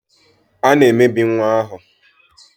A na-emebi nwa ahụ.